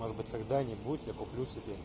может быть когда-нибудь я куплю себе